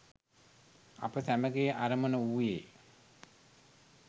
අප සැමගේ අරමුණ වූයේ